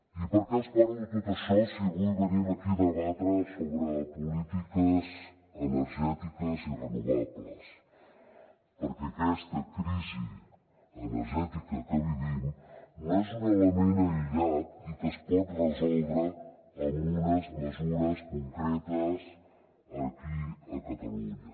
i per què els parlo de tot això si avui venim aquí a debatre sobre polítiques energètiques i renovables perquè aquesta crisi energètica que vivim no és un element aïllat i que es pot resoldre amb unes mesures concretes aquí a catalunya